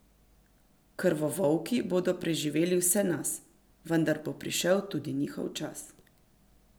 Krvovolki bodo preživeli vse nas, vendar bo prišel tudi njihov čas.